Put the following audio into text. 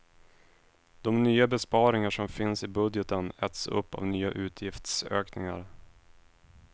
De nya besparingar som finns i budgeten äts upp av nya utgiftsökningar.